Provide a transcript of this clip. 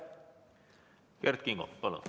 Kert Kingo, palun!